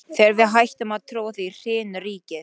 Þegar við hættum að trúa því, hrynur ríkið!